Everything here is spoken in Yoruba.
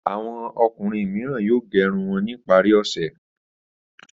Àwọn ọkùnrin mìíràn yóò gẹ irun wọn ní ìparí ọ̀sẹ̀.